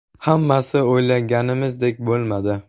Hammasi o‘ylaganimizdek bo‘lmadi.